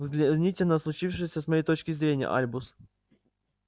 взгляните на случившееся с моей точки зрения альбус